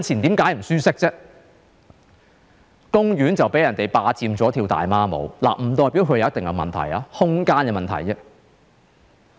因為公園被人霸佔用作跳"大媽舞"，不代表它有問題，這只是空間的問題。